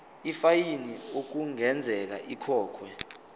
ifayini okungenzeka ikhokhwe